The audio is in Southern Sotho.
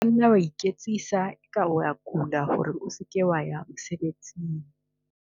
O ka nna wa iketsisa eka o a kula hore o se ke wa ya mosebesing.